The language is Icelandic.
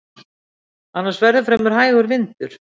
Annars verði fremur hægur vindur